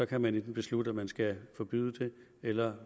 kan man beslutte at man enten skal forbyde det eller